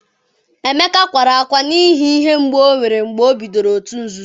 emeka kwara akwa n’ihi ihe mgbu o nwere mgbe o bidoro òtù nzuzo